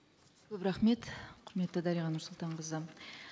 көп рахмет құрметті дариға нұрсұлтанқызы